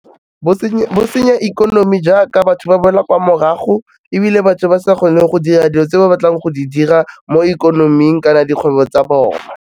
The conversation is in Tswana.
Bo senya ikonomi jaaka batho ba boela kwa morago ebile batho ba sa kgone go dira dilo tse ba batlang go di dira mo ikonoming kana dikgwebo tsa bona.